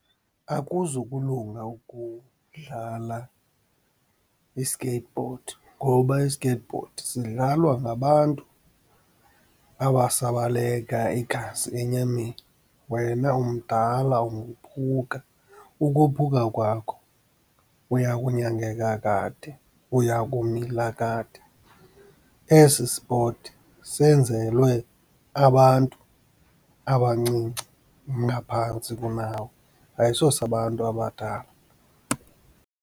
Akuzukulunga ukudlala i-skateboard ngoba i-skateboard sidlalwa ngabantu abasabaleka igazi enyameni, wena umdala ungophuka. Ukophuka kwakho uya kunyangeka kade, uyakumila kade. Esi spoti senzelwe abantu abancinci ngaphantsi kunawe, ayisosabantu abadala.